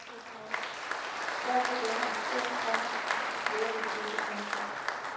Derfor denne aktion, komma flere vil følge. punktum